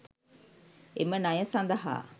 එම ණය සඳහා